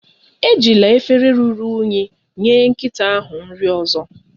Ejila efere ruru unyi enye nkịta ahụ nri ozo